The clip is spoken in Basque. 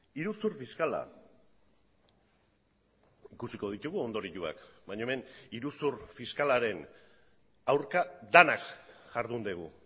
iruzur fiskala ikusiko ditugu ondorioak baina hemen iruzur fiskalaren aurka denak jardun dugu